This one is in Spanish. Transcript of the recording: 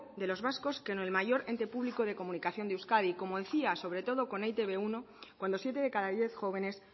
de los vascos con el mayor ente público de comunicación de euskadi como decía sobre todo con e i te be uno cuando siete de cada diez jóvenes